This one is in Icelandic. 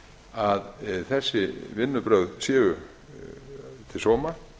að þessi vinnubrögð séu til sóma